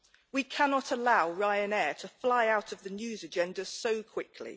We cannot allow Ryanair to fly out of the news agenda so quickly.